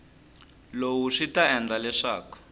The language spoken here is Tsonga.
lowu swi ta endla leswaku